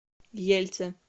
ельце